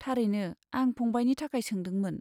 थारैनो, आं फंबायनि थाखाय सोंदोंमोन।